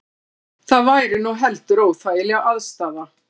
Það væri nú heldur óþægileg aðstaða